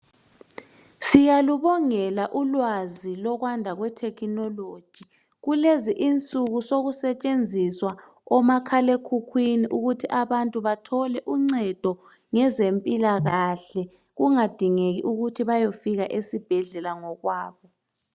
siyalubongela ulwazi lokwanda kwe technology kulezi insuku sokusetshenzeswa omakhala ekhukhwini ukuthi abantu bathole uncedo ngezempilakahle kungadingeki ukuthi bayofika esibhedlela ngokwabo